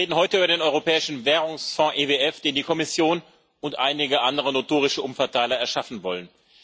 Wir reden heute über den Europäischen Währungsfonds EWF, den die Kommission und einige andere notorische Umverteiler erschaffen wollen.